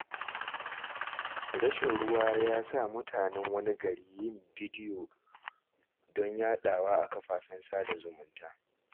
Rashi ruwa ya sa mutanen wani gari yin bidyo don yaɗawa a kafafen sada zumunta.